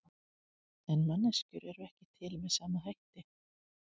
En manneskjur eru ekki til með sama hætti.